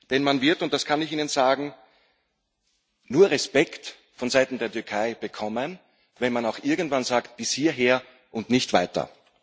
Denn man wird, das kann ich Ihnen sagen, nur Respekt von Seiten der Türkei bekommen, wenn man auch irgendwann sagt bis hierher und nicht weiter.